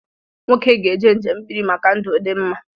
Nwoke ga-eje njembiri maka ndụ dimma